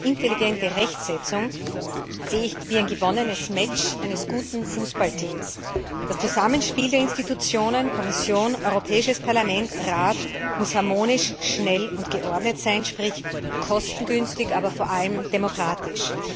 intelligente Rechtsetzung, sehe ich wie ein gewonnenes Match eines guten Fußballteams Das Zusammenspiel der Organe Kommission Europäisches Parlament Rat muss harmonisch, schnell und geordnet sein, sprich kostengünstig, aber vor allem demokratisch.